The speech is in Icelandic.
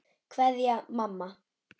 Kveðja, mamma.